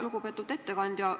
Lugupeetud ettekandja!